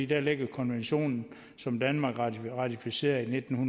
der ligger konventionen som danmark ratificerede i nitten